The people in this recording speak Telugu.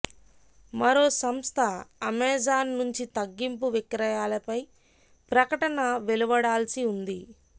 మరో సంస్థ అమేజాన్ నుంచి తగ్గింపు విక్రయాలపై ప్రకటన వెలువడాల్సి ఉంది